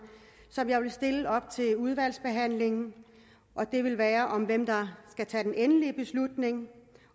som jeg vil stille op til udvalgsbehandlingen og det vil være om hvem der skal tage den endelige beslutning